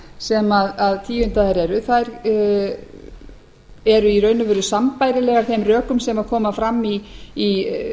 sem tíundaðar eru eru í raun og veru sambærilegar þeim rökum sem koma fram í